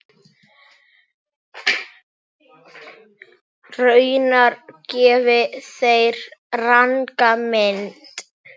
Raunar gefi þeir ranga mynd.